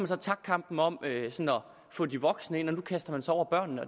så tabt kampen om at få de voksne ind og nu kaster man sig over børnene